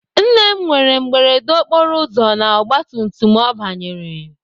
Nne m nwere mberede okporoụzọ na ọgbatumtum ọ banyere.